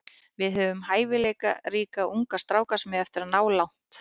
Við höfum hæfileikaríka unga stráka sem eiga eftir að ná langt.